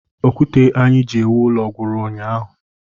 Okwute anyị ji ewu ụlọ gwụrụ ụnyaahụ